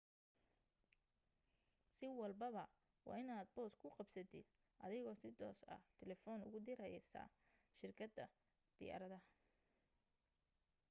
si walbaba waa inaad boos ku qabsatid adigoo si toos ah telefoon ugu diraysid shirkadda diyaaradda